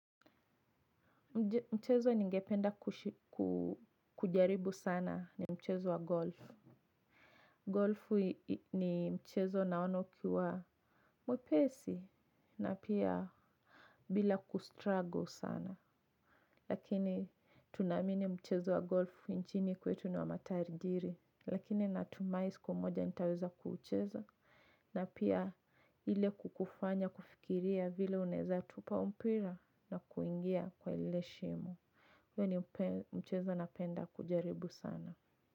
Mchezo ningependa kujaribu sana ni mchezo wa golf. Golf ni mchezo naona ukiwa mwepesi na pia bila kustruggle sana. Lakini tunamini mchezo wa golf nchini kwetu ni wa matajiri. Lakini natumai siku moja nitaweza kuucheza. Na pia ile kukufanya kufikiria vile unaeza tupa huu mpira na kuingia kwa ile shimo. Hio ni mchezo napenda kujaribu sana.